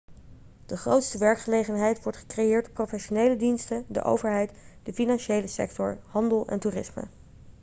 de grootste werkgelegenheid wordt gecreëerd door professionele diensten de overheid de financiële sector handel en toerisme